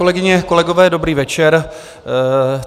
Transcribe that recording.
Kolegyně, kolegové, dobrý večer.